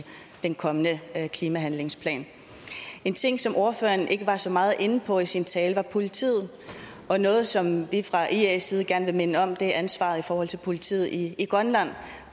den kommende klimahandlingsplan en ting som ordføreren ikke var så meget inde på i sin tale er politiet og noget som vi fra ias side gerne vil minde om er ansvaret i forhold til politiet i grønland